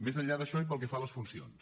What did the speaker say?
més enllà d’això i pel que fa a les funcions